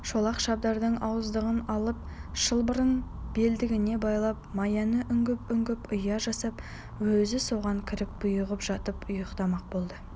шолақ шабдардың ауыздығын алып шылбырын белдігіне байлап маяны үңгіп-үңгіп ұя жасап өзі соған кіріп бұйығып жатып ұйықтамақ болды